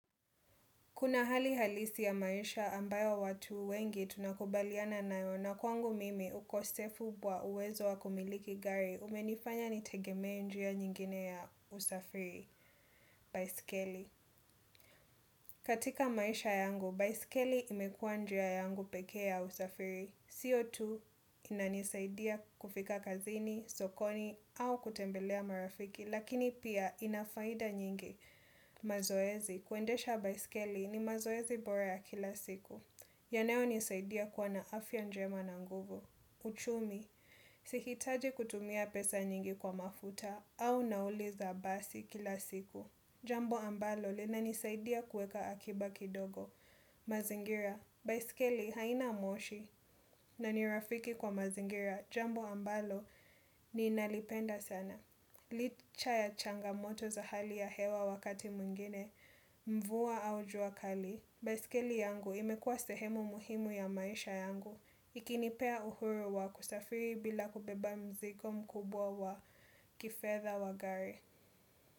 Kuna hali halisi ya maisha ambayo watu wengi tunakubaliana nayo na kwangu mimi ukosefu wa uwezo wa kumiliki gari umenifanya nitegemee njia nyingine ya usafiri, baiskeli. Katika maisha yangu, baiskeli imekuwa njia yangu pekee ya usafiri. Sio tu inanisaidia kufika kazini, sokoni au kutembelea marafiki, lakini pia inafaida nyingi. Mazoezi, kuendesha baiskeli ni mazoezi bora ya kila siku. Yanayonisaidia kuwa na afya njema na nguvu. Uchumi, sihitaji kutumia pesa nyingi kwa mafuta au nauli za basi kila siku. Jambo ambalo linanisaidia kuweka akiba kidogo. Mazingira, baiskeli haina moshi na nirafiki kwa mazingira Jambo ambalo ninalipenda sana Licha ya changamoto za hali ya hewa wakati mwingine Mvua au jua kali. Baiskeli yangu imekuwa sehemu muhimu ya maisha yangu ikinipea uhuru wa kusafiri bila kubeba mzigo mkubwa wa kifedha wa gari.